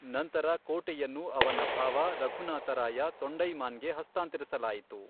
ನಂತರ ಕೋಟೆಯನ್ನು ಅವನ ಭಾವ, ರಘುನಾಥ ರಾಯ ತೊಂಡೈಮಾನ್ಗೆ ಹಸ್ತಾಂತರಿಸಲಾಯಿತು.